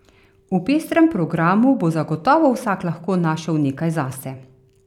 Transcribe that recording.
V pestrem programu bo zagotovo vsak lahko našel nekaj zase.